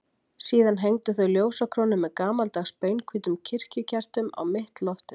Síðan hengdu þau ljósakrónu með gamaldags, beinhvítum kirkjukertum á mitt loftið.